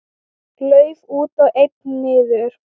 Lauf út og einn niður.